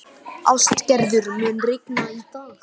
Ástgerður, mun rigna í dag?